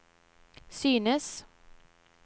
synes